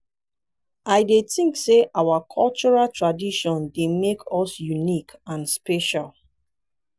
i dey think say our cultural traditions dey make us unique and special.